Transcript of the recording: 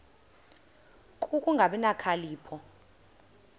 ku kungabi nokhalipho